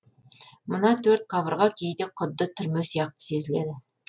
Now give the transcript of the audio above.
мына төрт қабырға кейде құдды түрме сияқты сезіледі